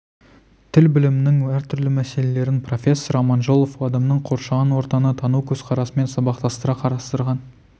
тіл білімінің әртүрлі мәселелерін профессор аманжолов адамның қоршаған ортаны тану көзқарасымен сабақтастыра қарастырған